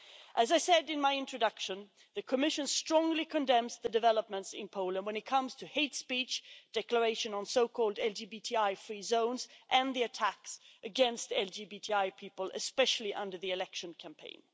As I said in my introduction, the Commission strongly condemns the developments in Poland when it comes to hate speech, declarations of so called LGBTI free zones' and the attacks against LGBTI people, especially under the election campaign.